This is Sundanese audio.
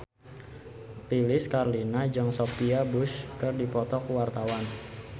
Lilis Karlina jeung Sophia Bush keur dipoto ku wartawan